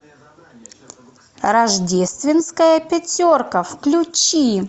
рождественская пятерка включи